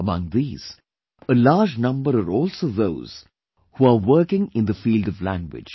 Among these, a large number are also those who are working in the field of language